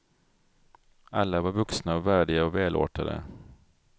Alla var vuxna och värdiga och välartade.